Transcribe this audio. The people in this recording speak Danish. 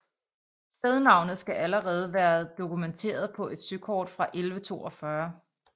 Stednavnet skal allerede været dokumenteret på et søkort fra 1142